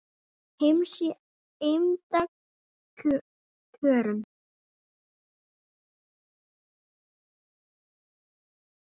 heims í eymda kjörum